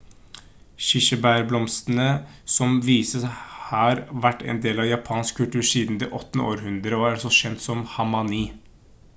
kirsebærblomstrene som vises har vært en del av japansk kultur siden det 8. århundre og er også kjent som hanami